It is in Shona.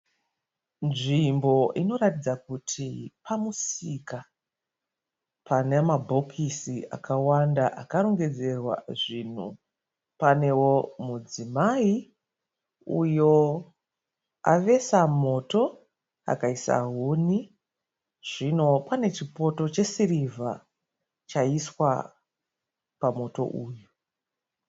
Nzvimbo inoratidza kuti pamusika, pane mabhokisi akawanda akarongedzerwa zvinhu. Panewo mudzimai uyo avesa moto akaisa huni. Zvino pane chipoto chesirivha chaiswa pamoto uyu.